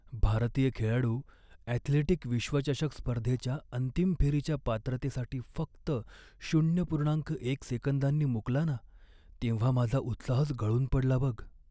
भारतीय खेळाडू ॲथलेटिक विश्वचषक स्पर्धेच्या अंतिम फेरीच्या पात्रतेसाठी फक्त शून्य पूर्णांक एक सेकंदांनी मुकला ना, तेव्हा माझा उत्साहच गळून पडला बघ.